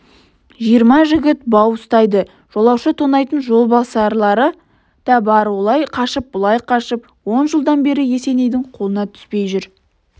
жиырма жігіт бау ұстайды жолаушы тонайтын жолбасарлары да бар олай қашып бұлай қашып он жылдан бері есенейдің қолына түспей жүр